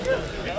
Hə, hə.